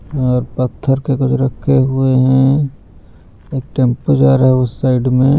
और पत्थर के कुछ रखे हुए हैं एक टेंपो जा रहा है उस साइड में----